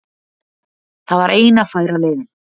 Það var eina færa leiðin